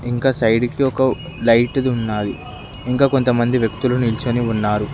ఇంకా సైడ్ కి ఒక లైట్ ఉన్నది ఇంకా కొంతమంది వ్యక్తులు నిల్చని ఉన్నారు